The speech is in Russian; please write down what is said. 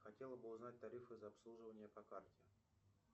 хотела бы узнать тарифы за обслуживание по карте